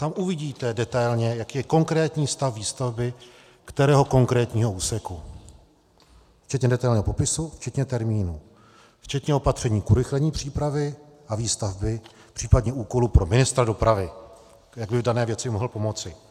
Tam uvidíte detailně, jaký je konkrétní stav výstavby kterého konkrétního úseku včetně detailního popisu, včetně termínu, včetně opatření k urychlení přípravy a výstavby, případně úkolů pro ministra dopravy, jak by dané věci mohl pomoci.